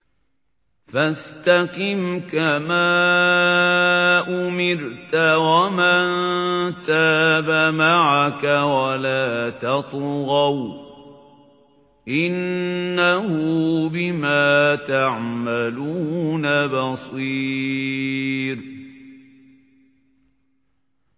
فَاسْتَقِمْ كَمَا أُمِرْتَ وَمَن تَابَ مَعَكَ وَلَا تَطْغَوْا ۚ إِنَّهُ بِمَا تَعْمَلُونَ بَصِيرٌ